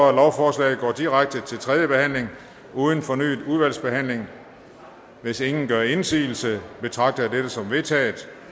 at lovforslaget går direkte til tredje behandling uden fornyet udvalgsbehandling hvis ingen gør indsigelse betragter jeg dette som vedtaget